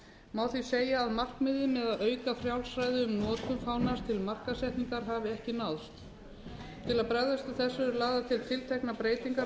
má því segja að markmiðið með að auka frjálsræði um notkun fánans til markaðssetningar hafi ekki náðst til að bregðast við þessu eru lagðar til tilteknar breytingar á